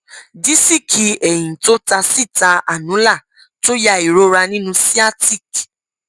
dísíìkì ẹyìn tó ta síta annular tó ya ìrora nínú sciatic